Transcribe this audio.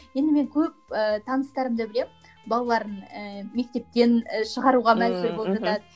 енді мен көп ііі таныстарымды білемін балаларын ііі мектептен ііі шығаруға мәжбүр болып жатады